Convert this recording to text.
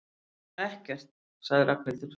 Ekkert sagði Ragnhildur.